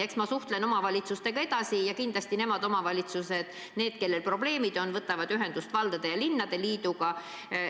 Eks ma suhtlen omavalitsustega edasi ja kindlasti omavalitsused, kellel probleemid on, võtavad ühendust valdade- ja linnade liiduga.